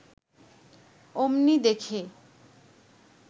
অমনি দেখে